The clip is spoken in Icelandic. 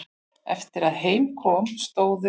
Eftir að heim kom stóðu